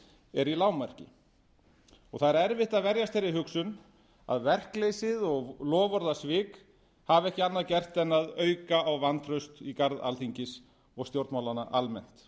er í lágmarki það er erfitt að verjast þeirri hugsun að verkleysið og loforðasvik hafi ekki annað gert en að auka á vantraust í garð alþingis og stjórnmálanna almennt